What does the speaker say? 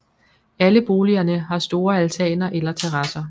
Alle boligerne har store altaner eller terrasser